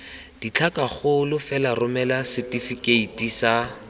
ditlhakakgolo fela romela setefikeiti sa